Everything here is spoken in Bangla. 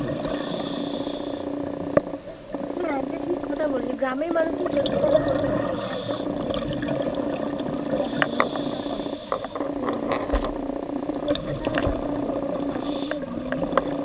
হ্যাঁ এটা ঠিক কথা বললি গ্রামের মানুষদের সত্যি কথা বলতে গেলে এটা একটা খুব সমস্যায় আছে খুব কষ্টের মধ্যে তারা জীবনযাপনটা করে তো এই প্রকল্পটা যদি তারা প্রত্যেক মানুষ ধর ঘরে ঘরে